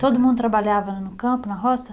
Todo mundo trabalhava no campo, na roça?